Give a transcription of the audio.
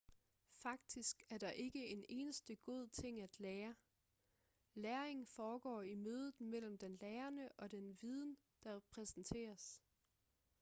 faktisk er der ikke en eneste god ting at lære læring foregår i mødet mellem den lærende og den viden der præsenteres